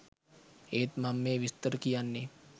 ඒත් මං මේ විස්තර කියන්නේ